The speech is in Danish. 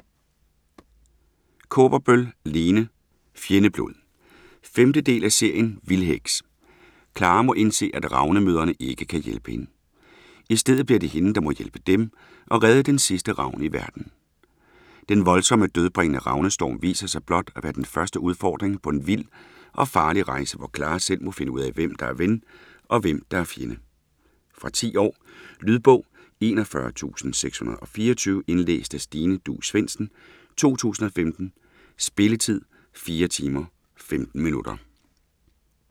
Kaaberbøl, Lene: Fjendeblod 5. del af serien Vildheks. Clara må indse at ravnemødrene ikke kan hjælpe hende. I stedet bliver det hende der må hjælpe dem og redde den sidste ravn i verden. Den voldsomme dødbringende ravnestorm viser sig blot at være den første udfordring på en vild og farlig rejse hvor Clara selv må finde ud af hvem der er ven og hvem der er fjende. Fra 10 år. Lydbog 41624 Indlæst af Stine Duus Svendsen, 2015. Spilletid: 4 timer, 15 minutter.